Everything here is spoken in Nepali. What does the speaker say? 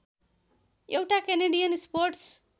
एउटा केनेडियन स्पोर्ट्स